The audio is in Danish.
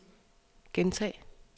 gentag